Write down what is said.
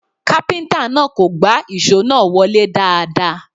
Kápíntà náà kò gbá ìṣó náà wọlé dáadáa